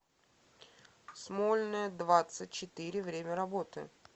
смольная двадцать четыре время работы